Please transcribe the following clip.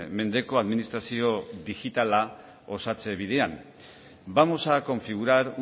mendeko administrazio digitala osatze bidean vamos a configurar